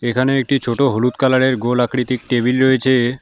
এখানেও একটি ছোট হলুদ কালার -এর গোল আকৃতির টেবিল রয়েছে।